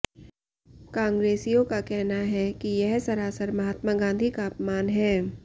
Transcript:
कांग्रेसियों का कहना है कि यह सरासर महात्मा गांधी का अपमान है